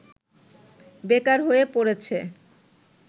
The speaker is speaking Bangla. বেকার হয়ে পড়েছে